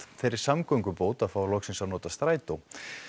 þeirri samgöngubót að fá loksins að nota strætó